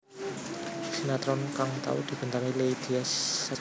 Sinetron kang tau dibintangi Leily Sagita